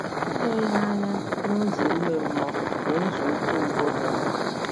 Ile ihe anya n’ụzọ ime mmụọ bụ nzọụkwụ mbụ dị mkpa.